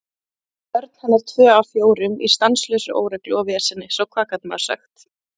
Börn hennar tvö af fjórum í stanslausri óreglu og veseni, svo hvað gat maður sagt?